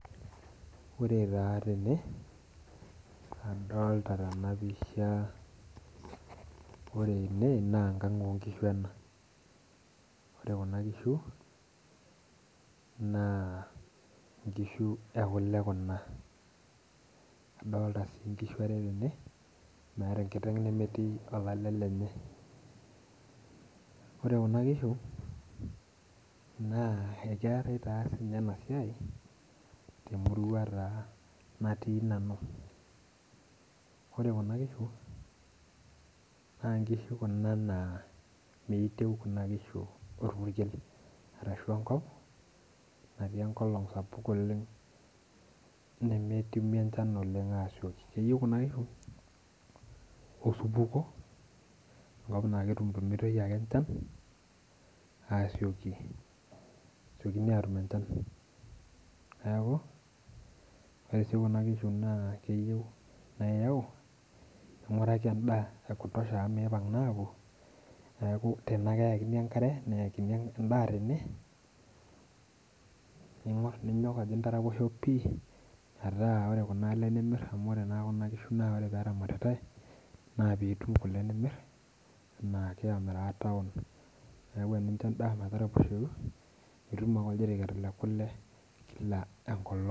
Ore taa ene, adolta tenapisha ore ene nenkang' onkishu ena. Ore kuna kishu, naa inkishu ekule kuna. Adolta si nkishu are tene, meeta enkiteng' nemetii olale lenye. Ore kuna kishu, naa ekeetai taa sinye enasiai, temurua taa natii nanu. Ore kuna kishu, na nkishu kuna naa meitieu kuna kishu orpukel. Arashu enkop natii enkolong sapuk oleng nemetumi enchan oleng asioki. Keyieu kuna kishu, osupuo. Enkop na ketumtumitoi ake enchan, asioki. Esiokini atum enchan. Neeku, ore si kuna kishu naa keyieu na yau, ning'uraki endaa ya kutosha amu mipang' naa apuo, neeku tene ake eekini enkare, neekini endaa tene, ninyok ajo intaraposho pi, metaa ore kuna ale nimir amu ore naa kuna kishu ore peramatitai, na pitum kule nimir, enaake amiraa taon, neeku enincho endaa metaraposhoyu, itum ake oljiriket lekule kila enkolong.